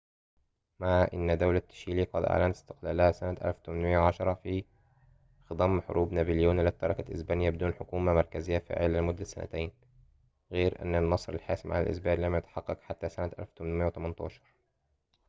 مع أنّ دولة تشيلي قد أعلنت استقلالها سنة 1810 في خضم حروب نابليون التي تركت إسبانيا بدون حكومة مركزية فاعلة لمدة سنتين، غير أن النصر الحاسم على الإسبان لم يتحقق حتى سنة 1818